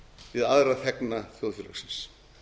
við aðra þegna þjóðfélagsins